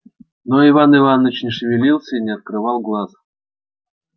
но иван иваныч не шевелился и не открывал глаз